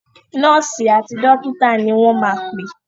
Nọ́ọ̀sì àti dọ́kítà ni wọ́n máa pè.